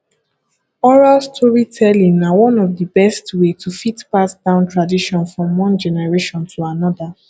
oral storytelling na one of di best way to fit pass down tradition from one generation to another